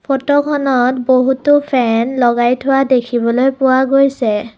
Photo খনত বহুতো fan লগাই থোৱা দেখিবলৈ পোৱা গৈছে।